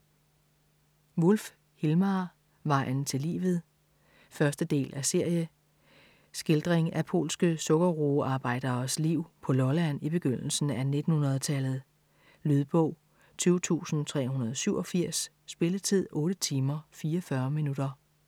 Wulff, Hilmar: Vejen til livet 1. del af serie. Skildring af polske sukkerroearbejderes liv på Lolland i begyndelsen af 1900-tallet. Lydbog 20387 Spilletid: 8 timer, 44 minutter.